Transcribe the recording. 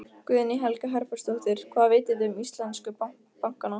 Guðný Helga Herbertsdóttir: Hvað vitið þið um íslensku bankana?